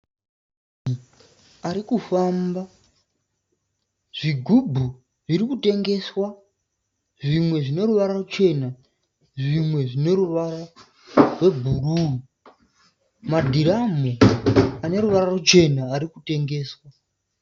Munhu arikufamba. Zvigubhu zvirikutengeswa zvimwe zvineruvara ruchena zvimwe zvebhuruu. Madhiramhu aneruvara ruchena arikutengeswa.